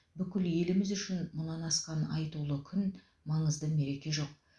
бүкіл еліміз үшін мұнан асқан айтулы күн маңызды мереке жоқ